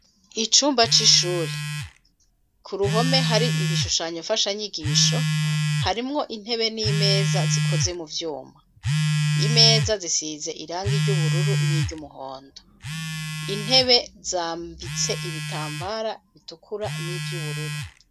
Icumba c'ishure ku ruhome hari ibishushanyo mfashanyigisho, harimwo intebe n'imeza zikoze mu vyuma, imeza zisize irangi ry'ubururu n'iry'umuhondo, intebe zambitse ibitambara bitukura n'ivy'ubururu.